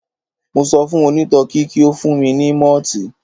Mo sọ fún òǹtọtí kí ó fún mi ní mọ́ọ̀tì.